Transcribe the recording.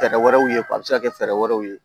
Fɛɛrɛ wɛrɛw ye a bɛ se ka kɛ fɛɛrɛ wɛrɛw ye